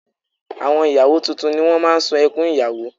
Àwọn ìyàwó tuntun ni wọ́n máa ń sun ẹkún ìyàwó